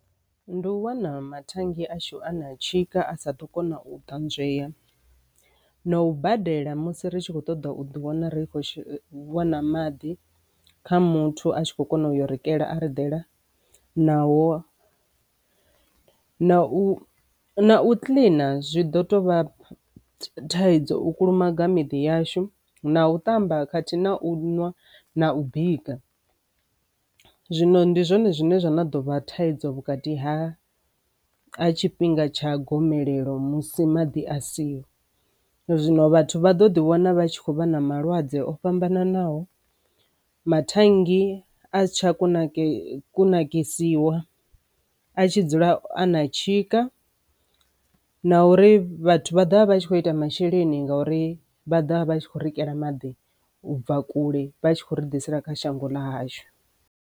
Ndi u wana mathannge ashu a na tshika a sa ḓo kona u ṱanzwei na u badela musi ri tshi khou ṱoḓa u ḓi wana ri khou wana maḓi kha muthu a tshi kho kona u yo bikela a badela naho na u na u kiḽina zwi ḓo tovha thaidzo u kulumaga miḓyashu na u tamba khathihi na u ṅwa na u bika. Zwino ndi zwone zwine zwa na dovha thaidzo vhukati ha a tshifhinga tsha gomelelo musi maḓi asia zwino vhathu vha ḓo ḓi vhona vha tshi khou vha na malwadze o fhambananaho maṱanganyi a si tsha kunakise kunakisiwa a tshi dzula a na tshika na uri vhathu vha dovha vha a tshi kho ita masheleni ngauri vha dovha vha a tshi kho bikela maḓi u bva kule vha tshi khou ri ḓisela kha shango ḽa hashu.